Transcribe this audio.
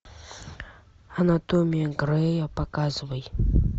анатомия грея показывай